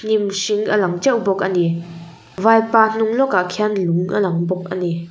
hnim hring a lang teuh bawk ani vaipa hnung lawkah khian lung a lang bawk ani.